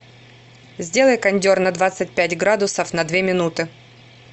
сделай кондер на двадцать пять градусов на две минуты